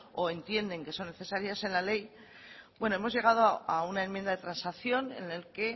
o entienden que son necesarias en la ley bueno hemos llegado a una enmienda de transacción en el que